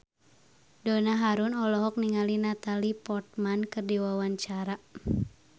Donna Harun olohok ningali Natalie Portman keur diwawancara